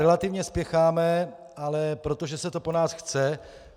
Relativně spěcháme, ale protože se to po nás chce.